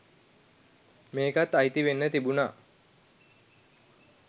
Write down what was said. මේකත් අයිති වෙන්න තිබුණා